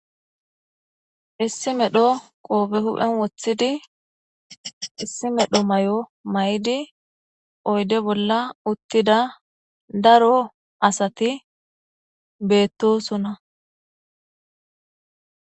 Issi medhdho qoofe hu'en woththidi issi medhdho may'o may'di oyde bolla uttida daro asati beettosona